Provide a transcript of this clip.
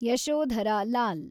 Yashodhara Lal